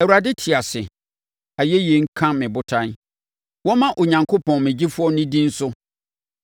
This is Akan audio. Awurade te ase! Ayɛyi nka me Botan! Wɔmma Onyankopɔn me Gyefoɔ no din so!